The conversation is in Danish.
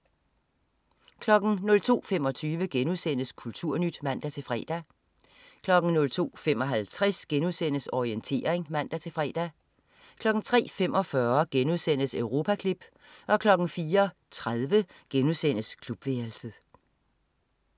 02.25 Kulturnyt* (man-fre) 02.55 Orientering* (man-fre) 03.45 Europaklip* 04.30 Klubværelset*